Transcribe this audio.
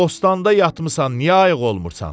Bostanda yatmısan, niyə ayıq olmursan?